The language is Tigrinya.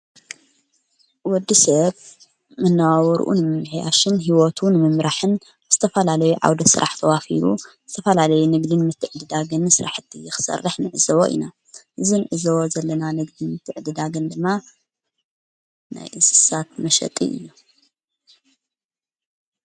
ወዲ ሰብ መነባብርኡን ምምሕያሽን ሕይወቱ እውን ምምራሕን ብተፋላለይ ዓውደ ሥራሕ ተዋፊሩ ስተፋላለይ ንግድን ምትዕድዳግን ሥራሕእቲኽሠርሕ ንዕዝዎ ኢና እዝንዕዘዎ ዘለና ንግድን ምትዕድዳግን ድማ ናይ እስሳት መሸጢ ኢና።